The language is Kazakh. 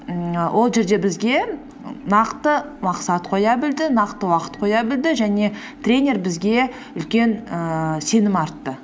ммм ол жерде бізге нақты мақсат қоя білді нақты уақыт қоя білді және тренер бізге үлкен ііі сенім артты